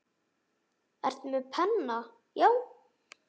Ertu með penna, já.